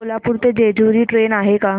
कोल्हापूर ते जेजुरी ट्रेन आहे का